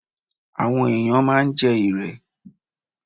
Àwọn ẹ̀yàn máa ń jẹ́ Irẹ̀.